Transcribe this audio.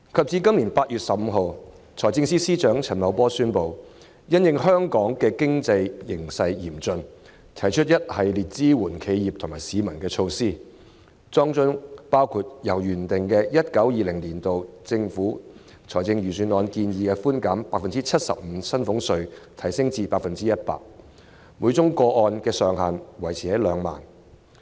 至今年8月15日，財政司司長陳茂波宣布，因應香港嚴峻的經濟形勢，推出一系列支援企業和市民的措施，當中包括將上述預算案建議的寬減比率由 75% 提升至 100%， 每宗個案的上限維持在2萬元。